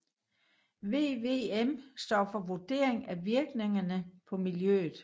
VVM står for Vurdering af Virkningerne på Miljøet